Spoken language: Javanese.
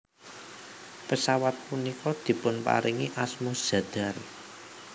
Pesawat punika dipunparingi asma Zadar